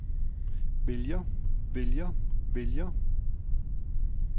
vælger vælger vælger